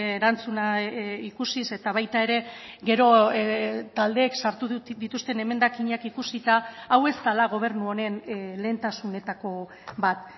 erantzuna ikusiz eta baita ere gero taldeek sartu dituzten emendakinak ikusita hau ez dela gobernu honen lehentasunetako bat